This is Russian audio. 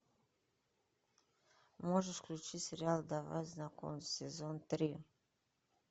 можешь включить сериал давай знакомиться сезон три